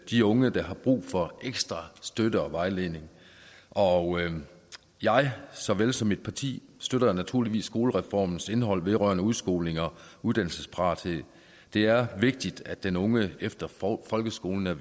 de unge der har brug for ekstra støtte og vejledning og jeg såvel som mit parti støtter naturligvis skolereformens indhold vedrørende udskoling og uddannelsesparathed det er vigtigt at den unge efter folkeskolen er